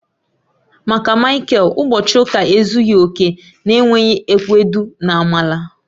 Maka Michael, ụbọchị ụka ezughị oke na-enweghị ewedu na amala.